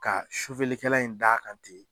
Ka kɛla in da kan ten